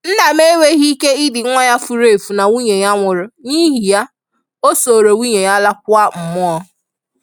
Nna m enweghi ike idi nwa ya furu efu na nwunye ya nwụrụ; n’ihi ya, o soro nwunye ya laa kwa mmụọ.